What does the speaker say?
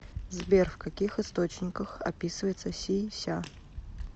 сбер в каких источниках описывается си ся